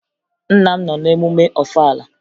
Nna m nọ n'emume Ọfala